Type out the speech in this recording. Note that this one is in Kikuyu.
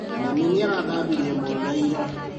Mami nĩarathambirie mwana ira